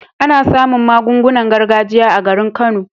Ana samun magungunan gargajiya a garin kano